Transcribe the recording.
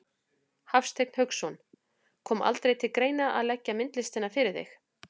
Hafsteinn Hauksson: Kom aldrei til greina að leggja myndlistina fyrir þig?